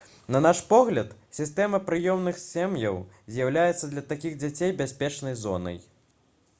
на наш погляд сістэма прыёмных сем'яў з'яўляецца для такіх дзяцей бяспечнай зонай